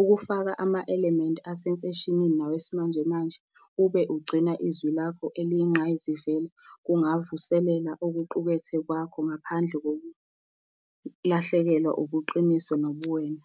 Ukufaka ama-element asemfeshinini nawe simanje manje, ube ugcina izwi lakho eliyinqayizivele, kungavuselela okuqukethwe kwakho ngaphandle kokulahlekelwa ubuqiniso nobuwena.